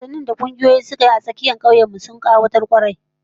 Wasannin da kungiyoyi suka yi a dandalin tsakiyar kauyen mu, sun kayatar kwarai